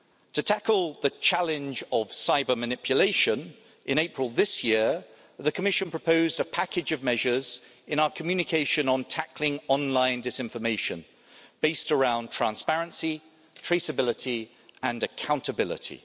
To tackle the challenge of cyber manipulation, in April this year, the Commission proposed a package of measures in our communication on tackling online disinformation, based around transparency, traceability and accountability.